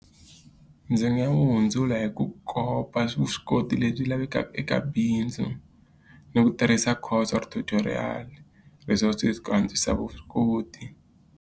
Ndzi nga wu hundzula hi ku kopa vuswikoti lebyi lavekaka eka bindzu, ni ku tirhisa or tutorial ku antswisa vuswikoti.